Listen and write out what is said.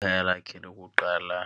Ikhaya lakhe lokuqala